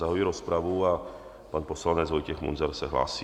Zahajuji rozpravu a pan poslanec Vojtěch Munzar se hlásí.